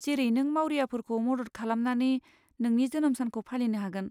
जेरै नों मावरियाफोरखौ मदद खालामनानै नोंनि जोनोम सानखौ फालिनो हागोन।